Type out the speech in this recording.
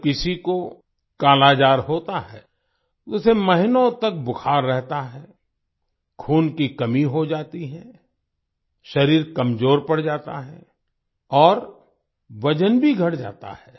जब किसी को कालाजार होता है तो उसे महीनों तक बुखार रहता है खून की कमी हो जाती है शरीर कमजोर पड़ जाता है और वजन भी घट जाता है